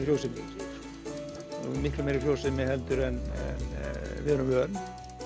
frjósemi miklu meiri frjósemi en við erum vön